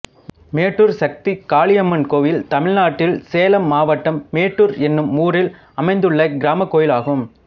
மேட்டூர் சக்தி காளியம்மன் கோயில் தமிழ்நாட்டில் சேலம் மாவட்டம் மேட்டூர் என்னும் ஊரில் அமைந்துள்ள கிராமக் கோயிலாகும்